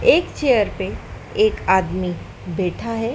एक चेयर पे एक आदमी बैठा है।